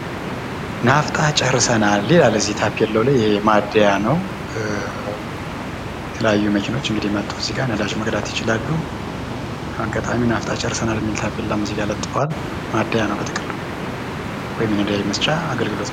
ናፍጣ ጨርሰናል ይላል እዚህ ታፔላው ላይ። ማደያ ነው። የተለያዩ መኪናዎች እንግዲ መተው እዚጋ ነዳጅ መቅዳት ይችላሉ። አጋጣሚ ናፍጣ ጨርሰናል የሚል ታፔላም እዚጋ ለጥፈዋል ፤ ማደያ ነው በጥቅሉ ወይም ነዳጅ መስጫ አገልግሎት ነው።